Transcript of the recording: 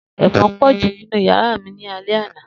Efon po ju ninu yara mi ni alẹ ana.